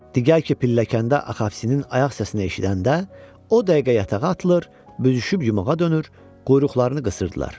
Diğər ki, pilləkəndə Axavsinin ayaq səsini eşidəndə, o dəqiqə yatağa atılır, büzüşüb yumağa dönür, quyruqlarını qısırdılar.